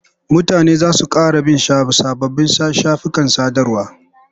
Mutane za su ƙara bin sababbin shafukan sadarwa.